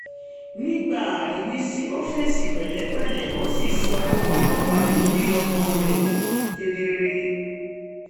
nígbà aríwísí ó fèsì pẹ̀lẹ́pẹ̀lẹ́ ó sì sọ ohun tó wà lórí ọkàn rẹ̀ kedere